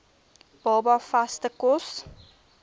baba vaste kos